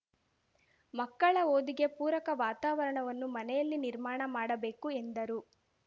ಮಕ್ಕಳ ಓದಿಗೆ ಪೂರಕ ವಾತಾವರಣವನ್ನು ಮನೆಯಲ್ಲಿ ನಿರ್ಮಾಣ ಮಾಡಬೇಕು ಎಂದರು